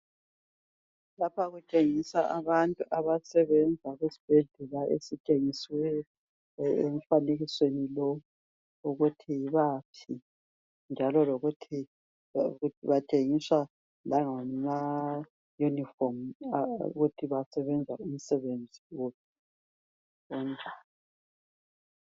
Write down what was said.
Lapha kutshengiswa abantu abasebenza kusibhedlela esithengisiweyo emfanekisweni lowu ukuthi yibaphi njalo lokuthi bangetshengiswa langama yunifomu ukuthi basebenza umsebenzi uphi.